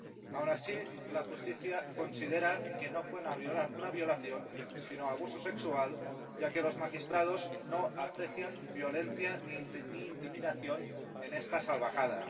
Aun así, la justicia considera que no fue una violación, sino abuso sexual, ya que los magistrados no aprecian violencia ni intimidación en esta salvajada.